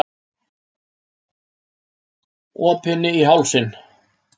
Opinni í hálsinn.